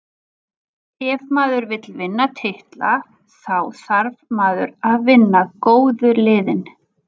Ef maður vill vinna titla, þá þarf maður að vinna góðu liðin.